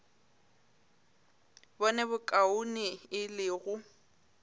bone bokaone e le go